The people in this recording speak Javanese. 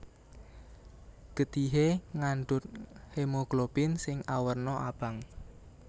Getihé ngandhut hemoglobin sing awerna abang